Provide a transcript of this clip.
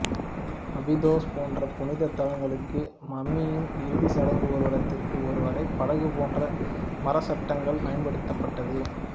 Abydos போன்ற புனித தலங்களுக்கு மம்மியின் இறுதி சடங்கு ஊர்வலத்திற்கு ஒரு வகை படகு போன்ற மரச்சட்டங்கள் பயன்படுத்தப்பட்டது